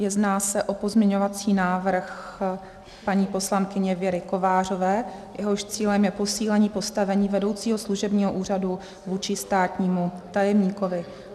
Jedná se o pozměňovací návrh paní poslankyně Věry Kovářové, jehož cílem je posílení postavení vedoucího služebního úřadu vůči státnímu tajemníkovi.